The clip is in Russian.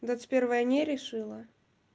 двадцать первое не решила